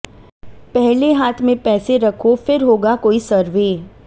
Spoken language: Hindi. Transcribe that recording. पहले हाथ में पैसे रखो फिर होगा कोई सर्वे